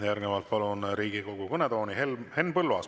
Järgnevalt palun Riigikogu kõnetooli Henn Põlluaasa.